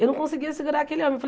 Eu não conseguia segurar aquele homem.